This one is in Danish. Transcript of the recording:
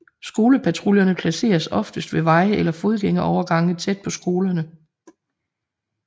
Skolepatruljerne placeres oftest ved veje eller fodgængerovergange tæt på skolerne